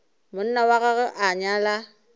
monna wa gagwe a nyala